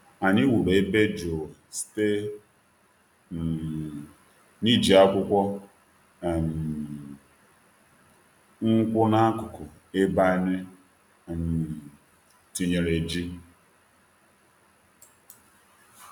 Anyị wuru ebe jụụ site um n’iji akwụkwọ um nkwụ n’akụkụ ebe anyị um tinyere ji.